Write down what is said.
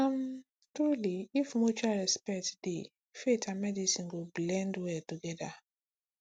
um truly if mutual respect dey respect dey faith and medicine go blend well together